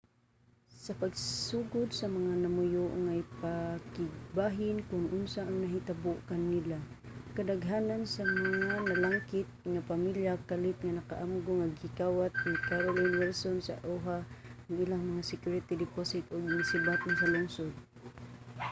sa pagsugod sa mga namuyo nga ipakigbahin kon unsa ang nahitabo kanila kadaghanan sa mga nalangkit nga pamilya kalit nga naka-amgo nga gikawat ni carolyn wilson sa oha ang ilang mga security deposit ug nisibat na sa lungsod